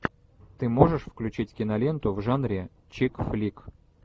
ты можешь включить киноленту в жанре чикфлик